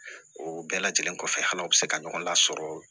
O bɛɛ lajɛlen kɔfɛ hal'aw bɛ se ka ɲɔgɔn lasɔrɔ